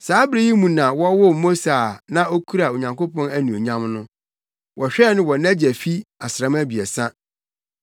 “Saa bere yi mu na wɔwoo Mose a na okura Onyankopɔn anuonyam no. Wɔhwɛɛ no wɔ nʼagya fi asram abiɛsa,